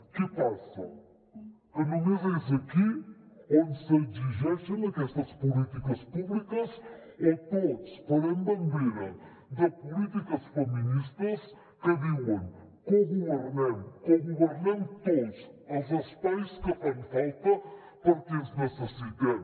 què passa que només és aquí on s’exigeixen aquestes polítiques públiques o tots farem bandera de polítiques feministes que diuen cogovernem cogovernem tots els espais que fan falta perquè ens necessitem